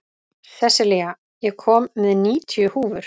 Sessilía, ég kom með níutíu húfur!